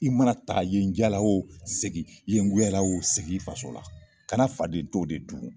I mana taa yen diyara o segin ye goyara o segin i faso la kana fadento de dun